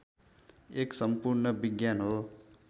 एक सम्पूर्ण विज्ञान हो